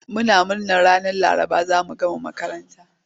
Muna murna ranar Laraba za mu gama makaranta.